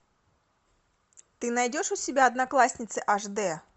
ты найдешь у себя одноклассницы аш д